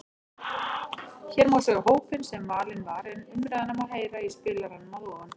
Hér má sjá hópinn sem valinn var en umræðuna má heyra í spilaranum að ofan.